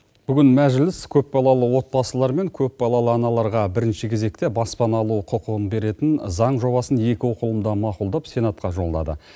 бүгін мәжіліс көпбалалы отбасылар мен көпбалалы аналарға бірінші кезекте баспана алу құқығын беретін заң жобасын екі оқылымда мақұлдап сенатқа жолдады